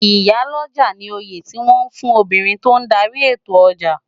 Iyá lòjá ni óyé tiwòn fún óbirin tó n dàri étó òjá